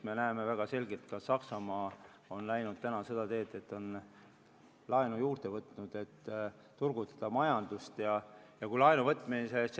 Me näeme väga selgelt, et ka Saksamaa on läinud seda teed, et on laenu juurde võtnud, et majandust turgutada.